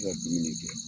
dumuni kɛ